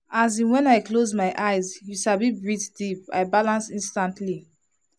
as in when i close my eyes you sabi breathe deep i balance instantly.